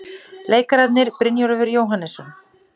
Leikararnir, Brynjólfur Jóhannesson